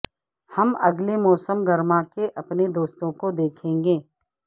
ہم اگلے موسم گرما کے اپنے دوستوں کو دیکھیں گے